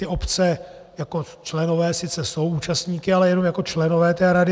Ty obce jako členové sice jsou účastníky, ale jenom jako členové té rady.